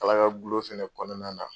Kala kagulon fɛnɛ kɔnɔna na